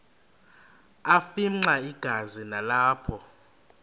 afimxa igazi nalapho